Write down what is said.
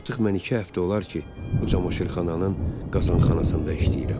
Artıq mən iki həftə olar ki, o camaşırxananın qazxanasında işləyirəm.